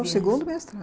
Isso. O segundo mestrado.